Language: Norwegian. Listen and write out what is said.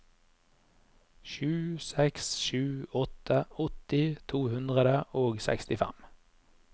sju seks sju åtte åtti to hundre og sekstifem